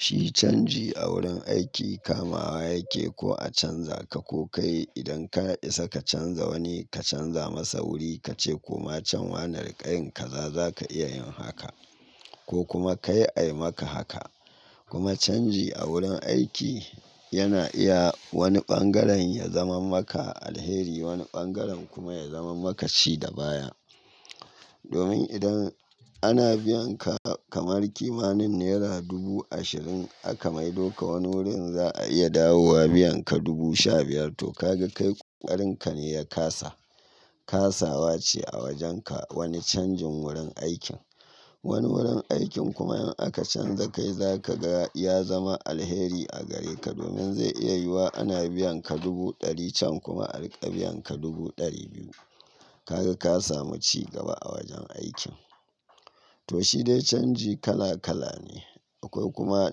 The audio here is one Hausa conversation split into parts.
Shi canji a wurin aiki kamawa yake ko a canza ka ko kai idan ka isa ka canza wani ka canza masa wuri ka ce ko ma can wane rinka yin kaza za ka iya yin haka ko kuma kai ayi maka haka. Kuma canji a wurin aiki yana iya wani ɓangaren ya zama maka alheri wani ɓangaren kuma ya zama maka ci da baya. Domin idan ana biyan ka kamar kimanin naira dubu ashirin aka maido ka wani wurin za a iya dawowa biyan ka dubu sha biyar to ka ga kai koƙarin ka ne ya kasa. Kasawa ce a wajen ka wani canjin wurin aikin. Wani wurin aikin kuma in aka canza kai za ka ga ya zama alheri a gare ka domin zai iya yiwuwa ana biyan ka dubu ɗari can kuma a riƙe biyan ka dubu ɗari biyu. Ka ga ka samu cigaba a wajen aikin. To shi dai canji kala kala ne akwai kuma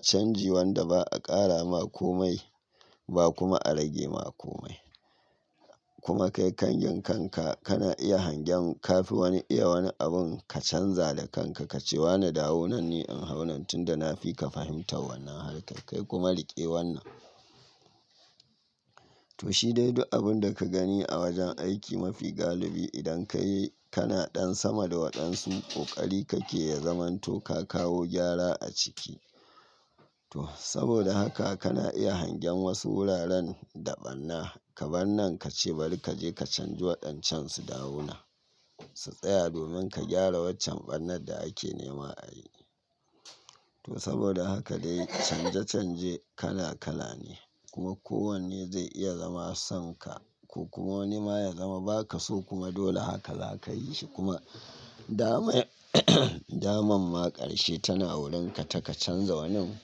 canji wanda ba a ƙara ma ko mai ba kuma a rage ma ko mai. Kuma kai ƙangyen kanka kana iya hangen ka fi wani iya wani abun ka canza da kanka ka ce wane dawo nan ni in hau nan tunda na fi ka fahimtar wannan harka kai kuma riƙe wannan. To shi dai duk abun da ka gani a wajen aiki mafi galibi idan ka yi kana ɗan sama da waɗansu ƙoƙari kake ya zamanto ka kawo gyara a ciki. To saboda haka kana iya hangen wasu wuraren da ɓanna ka ɓannan ka ce bari ka je ka canji waɗancan su dawo nan su tsaya domin ka gyara waccan ɓannar da ake nema a yi. To saboda haka dai canja canje kala kala ne kuma ko wanne zai iya zama son ka ko kuma wani ma ya zama ba ka so kuma dole haka za ka yi shi kuma dama daman maƙarshe tana wurin ka taka canza wanin.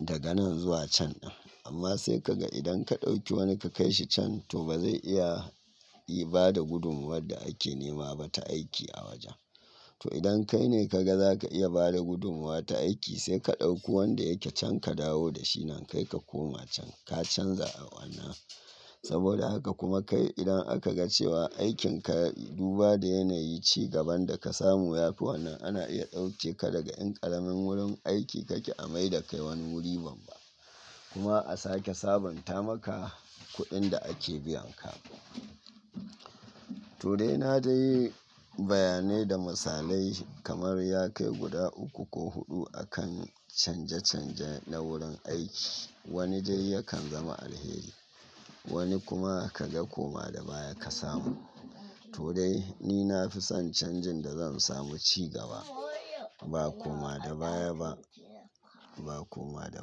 Daga nan zuwa can din. Amma sai ka ga idan ka ɗauki wani ka kai shi can to ba zai iya ba da gudunmuwar da ake nema ba ta aiki a wajen. To idan kai ne ka ga za ka iya bada gudumuwa ta aiki sai ka ɗauki wanda yake can ka dawo da shi nan kai ka koma can ka canza wannan. Saboda haka kuma kai idan aka ga cewa aikin ka duba da yanayi cigaban da ka samu yafi wannan ana iya ɗauke ka daga in ƙaramin wurin aiki kake a maida kai wani wuri babba kuma a sake sabanta maka kuɗin da ake biyan ka. To dai na dai bayanai da misalai kamar ya kai guda uku ko huɗu akan canja canja na wurin aiki wani dai yakan zama alheri wani kuma ka ga ko ma da baya ka samu. To dai ni na fi son canjin da zan samu cigaba ba ko ma da baya ba ba ko ma da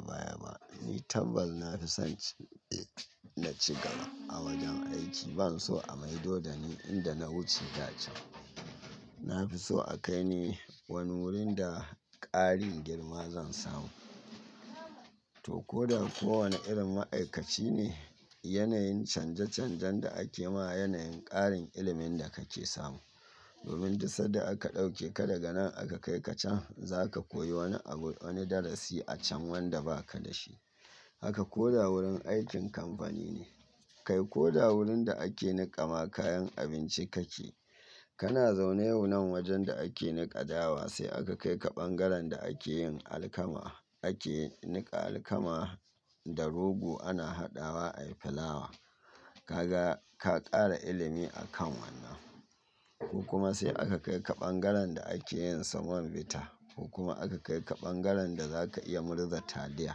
baya ba. Ni tabbas na fi son na cigaba a wajen aiki ban so a maido da ni inda na wuce da can. Na fi so a kai ni wani wurin da ƙarin girma zan samu. To ko da ko wane irin ma'aikaci ne yanayin canja canjan da ake ma yanayin ƙarin ilimin da kake samu. Domin duk sanda aka ɗauke ka daga nan aka kai ka can zaka koyi wani abu wani darasi a can wanda ba ka da shi. Haka ko da wurin aikin kamfani ne kai ko da wurin da ake niƙama kayan abinci kake. Kana zaune yau nan wajen da ake niƙa dawa sai aka kai ka ɓangaren da ake yin alkama ake niƙa alkama da rogo ana haɗawa ayi fulawa. Ka ga ka ƙara ilimi a kan wannan. Ko kuma sai aka kai ka ɓangaren da ake yin semon bita ko kuma aka kai ka ɓangaren da za ka iya murza taliya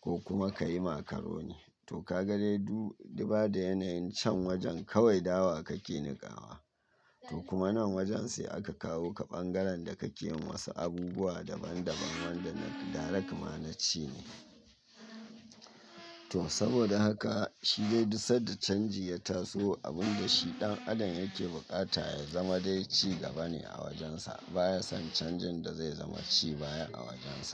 ko kuma ka yi macaroni. To ka ga dai du duba da yanayin can wajen kawai dawa kake niƙawa to kuma nan wajen sai aka kawo ka ɓangaren da kake yi masa abubuwa daban daban wanda na direct ma na ci ne. To saboda haka shi dai duk sanda canji ya taso abun da shi ɗan adam yake buƙata ya zama dai cigaba ne a wajensa baya son canjin da zai zama ci baya a wajensa.